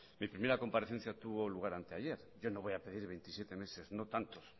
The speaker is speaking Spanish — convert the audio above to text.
mi primera comparecencia tuvo lugar anteayer yo no voy a pedir veintisiete meses no tantos